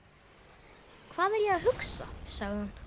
Hvað er ég að hugsa? sagði hann.